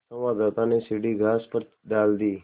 संवाददाता ने सीढ़ी घास पर डाल दी